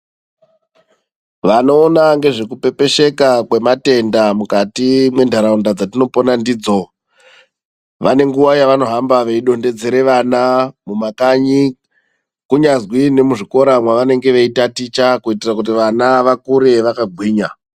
Vanoona ngezvekupepesheka kwematenda mukati mwendaraunda dzatinopona ndidzo vane nguwa yavanohamba veidonhedzera vana mumakanyi kunyazi nemuzvikora mwavanenge veitaticha kuitira kuti vana vakure vakagwinya.